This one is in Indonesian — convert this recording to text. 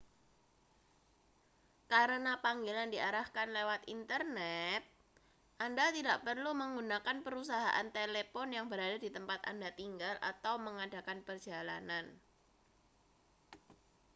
karena panggilan diarahkan lewat internet anda tidak perlu menggunakan perusahaan telepon yang berada di tempat anda tinggal atau mengadakan perjalanan